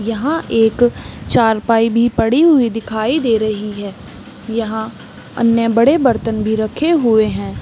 यहाँ एक चारपाई भी पड़ी हुई दिखाई दे रही है यहाँ अन्य बड़े बर्तन भी रखे हुए हैं ।